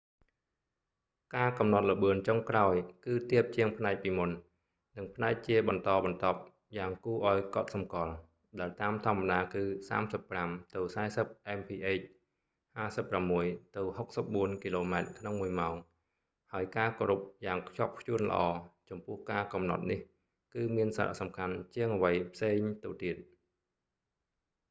ការកំណត់​ល្បឿន​ចុងក្រោយ គឺ​ទាប​ជាង​ផ្នែក​ពីមុន និង​ផ្នែក​ជា​បន្ត​បន្ទាប់​យ៉ាង​គួរ​ឱ្យ​កត់​សំគាល់ — ដែល​តាមធម្មតា​គឺ 35-40 mph 56ទៅ 64គ.ម/ម៉ោង — ហើយ​ការ​គោរព​យ៉ាង​ខ្ជាប់​ខ្ជួន​ល្អ​ចំពោះ​ការ​កំណត់​នេះ គឺ​មាន​សារៈ​សំខាន់​ជាង​អ្វី​ផ្សេង​ទៅ​ទៀត​។